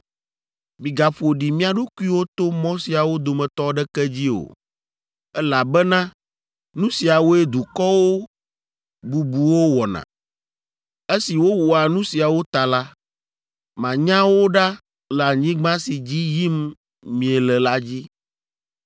“ ‘Migaƒo ɖi mia ɖokuiwo to mɔ siawo dometɔ aɖeke dzi o, elabena nu siawoe dukɔwo bubuwo wɔna. Esi wowɔa nu siawo ta la, manya wo ɖa le anyigba si dzi yim miele la dzi.